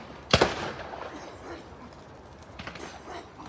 Bir sıra atış səsləri eşidilir.